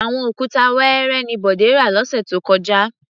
Àwọn òkúta wẹẹrẹ ni Bọ̀dé rà lọ́sẹ̀ tó kọjá.